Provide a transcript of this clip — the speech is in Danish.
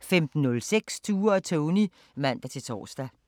15:06: Tue og Tony (man-tor)